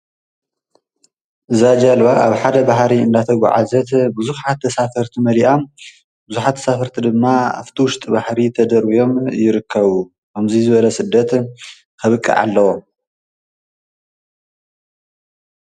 እዛ ጀልባ ኣብ ሓደ ባሕሪ እናተጉዓዘት ብዙሓት ተሳፈርት መሊኣ ብዙሓት ተሳፈርቲ ድማ ኣብቲ ዉሽጢ ባሕሪ ተደርብዮም ይርከቡ ከምዚ ዝበለ ስደት ከብቅዕ ኣለዎ።